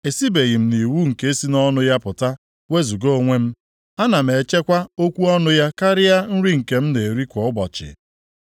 Esibeghị m nʼiwu nke si nʼọnụ ya pụta wezuga onwe m; a na m echekwa okwu ọnụ ya karịa nri nke m na-eri kwa ụbọchị.